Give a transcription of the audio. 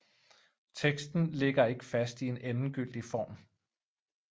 Teksten ligger ikke fast i en endegyldig form